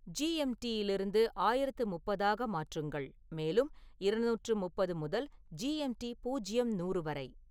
ஜி.எம்.டி.யிலிருந்து ஆயிரத்து முப்பது ஆக மாற்றுங்கள் மேலும் இருநூற்று முப்பது முதல் ஜி. எம். டி. பூஜ்ஜியம் நூறு வரை